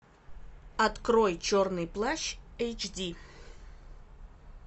открой черный плащ эйч ди